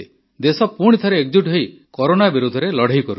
ଦେଶ ପୁଣିଥରେ ଏକଜୁଟ ହୋଇ କରୋନା ବିରୋଧରେ ଲଢ଼େଇ ଲଢ଼ୁଛି